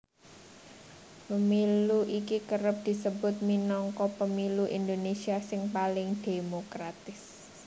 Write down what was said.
Pemilu iki kerep disebut minangka pemilu Indonésia sing paling dhémokratis